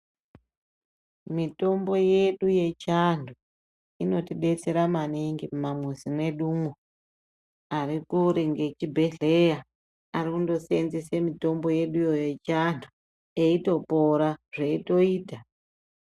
Mitombo yedu yechiantu inotibetsera maningi mumamuzi mwedumo ari kure ngechibhedhleya anondoseenzese mitombo yeduwo yechianhu eyitopora zveyitoita.